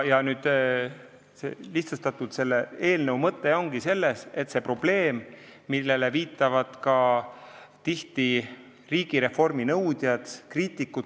Lihtsustatult öeldes on selle eelnõu mõte tegelda selle probleemiga, millele viitavad tihti ka riigireformi nõudjad ja kriitikud.